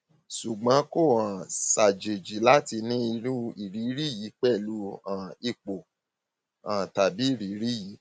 ṣùgbọn kò um ṣàjèjì láti ní irú ìrírí yìí pẹlú um ipò um tàbí ìrírí yìí